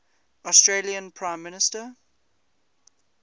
australian prime minister